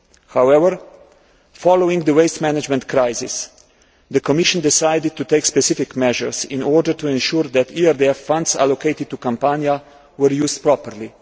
However, following the waste management crisis, the Commission decided to take specific measures in order to ensure that ERDF funds allocated to Campania were used properly.